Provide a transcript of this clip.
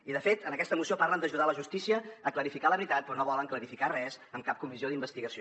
i de fet en aquesta moció parlen d’ajudar la justícia a clarificar la veritat però no volen clarificar res en cap comissió d’investigació